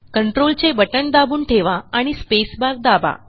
कंट्रोलचे बटण दाबून ठेवा आणि स्पेसबार दाबा